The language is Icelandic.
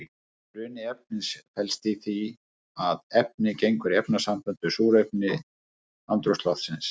Bruni efnis felst í því að efnið gengur í efnasamband við súrefni andrúmsloftsins.